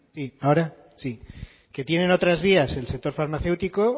ahora sí que tienen otras vías el sector farmacéutico